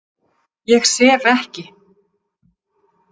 Ég sef ekki.